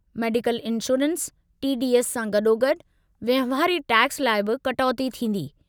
Medical insurance, T. D. S. सां गॾोगॾु वहिंवारी टैक्स लाइ बि कटौती थींदी।